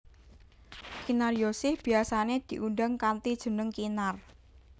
Kinaryosih biyasané diundang kanthi jeneng Kinar